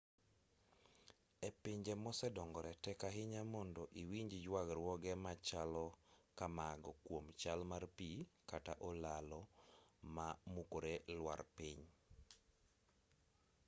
e pinje mosedongore tek ahinya mondo iwinj yuagruoge machalo kamago kuom chal mar pi kata olalo ma mukore lwar piny